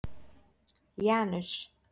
Janus